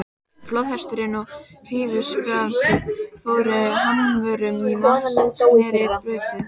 Flóðhesturinn og hrífuskaftið fóru hamförum í vatnsrennibrautinni.